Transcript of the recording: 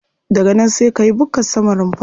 Daga nan sai ka yi bukkar a saman rumfar.